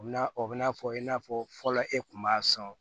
U bina o bɛna fɔ i n'a fɔ fɔlɔ e kun b'a sɔn